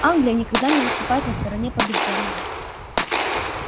англия никогда не выступает на стороне побеждённого